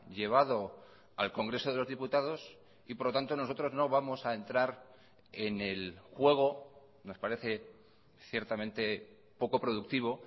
llevado al congreso de los diputados y por lo tanto nosotros no vamos a entrar en el juego nos parece ciertamente poco productivo